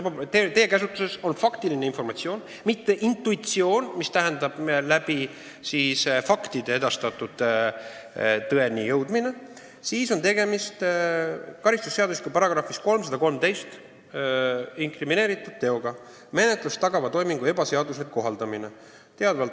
Kui teie käsutuses on faktiline informatsioon ja te ei lähtu intuitsioonist ning olete faktide alusel tõeni jõudnud, siis on tegemist karistusseadustiku §-s 313 "Kohtumenetlust tagava toimingu ebaseaduslik kohaldamine" inkrimineeritud teoga.